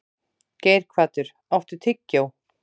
Geirhvatur, áttu tyggjó?